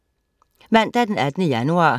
Mandag den 18. januar